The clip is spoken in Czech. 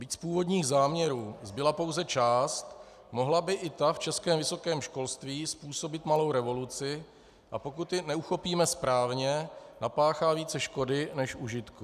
Byť z původních záměrů zbyla pouze část, mohla by i ta v českém vysokém školství způsobit malou revoluci, a pokud ji neuchopíme správně, napáchá více škody než užitku.